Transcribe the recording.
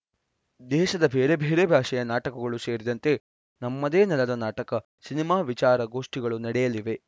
ದೇಶದ ಬೇರೆ ಬೇರೆ ಭಾಷೆಯ ನಾಟಕಗಳು ಸೇರಿದಂತೆ ನಮ್ಮದೇ ನೆಲದ ನಾಟಕ ಸಿನಿಮಾ ವಿಚಾರ ಗೋಷ್ಟಿಗಳು ನಡೆಯಲಿವೆ